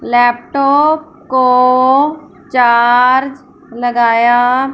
laptop को charge लगाया--